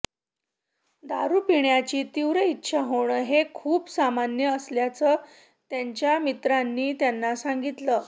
दारू पिण्याची तीव्र इच्छा होणं हे खूप सामान्य असल्याचं त्यांच्या मित्रांनी त्यांना सांगितलं